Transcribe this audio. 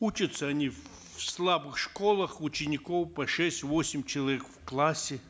учатся они в слабых школах учеников по шесть восемь человек в классе